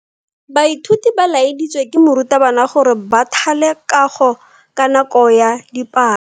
Baithuti ba laeditswe ke morutabana gore ba thale kago ka nako ya dipalo.